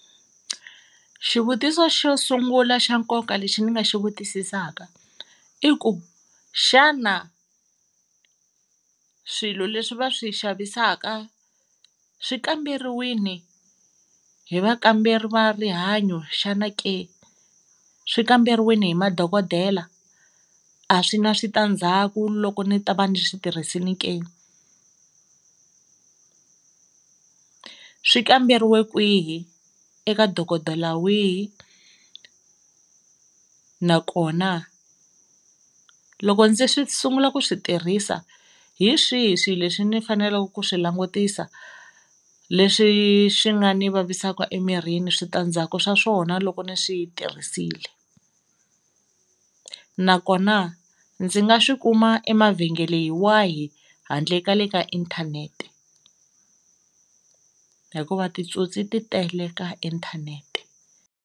Xivutiso xo sungula xa nkoka lexi ni nga xi vutisisaka i ku xana swilo leswi va swi xavisaka swi kamberiwini hi vakamberi va rihanyo xana ke swi kamberiwini hi madokodela a swi na switandzhaku loko ni ta va ni swi tirhisini ke,. Swi kamberiwe kwihi? Eka dokodela wihi nakona loko ndzi swi sungula ku swi tirhisa hi swihi swilo leswi ni faneleke ku swi langutisa leswi swi nga ni vavisaka emirini switandzhaku swa swona loko ni swi tirhisile? Nakona ndzi nga swi kuma emavhengeleni wahi handle ka le ka inthanete hikuva titsotsi ti tele ka inthanete.